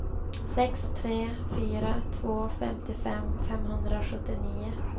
sex tre fyra två femtiofem femhundrasjuttionio